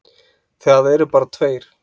Það eru bara tveir.